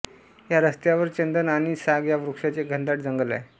या रस्त्यावर चंदन आणि साग या वृक्षांचे घनदाट जंगल आहे